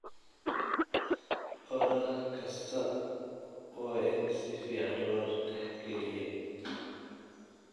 Odhaah kastaa waa in si fiican loo dhexgeliyo.